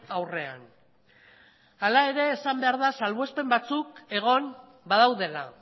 aurrean hala ere esan behar da salbuespen batzuk egon badaudela